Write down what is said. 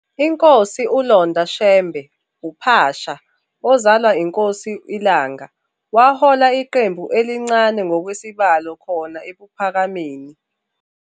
INkosi uLonda Shembe "uPhasha", ozalwa iNkosi iLanga, wahola iqembu elincane ngokwesibalo khona eKuphakameni.